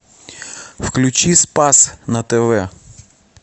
включи спас на тв